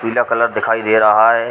पीला कलर दिखाई दे रहा है।